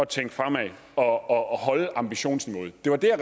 tænke fremad og holde ambitionsniveauet det var det